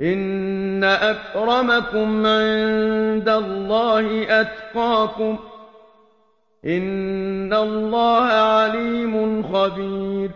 إِنَّ أَكْرَمَكُمْ عِندَ اللَّهِ أَتْقَاكُمْ ۚ إِنَّ اللَّهَ عَلِيمٌ خَبِيرٌ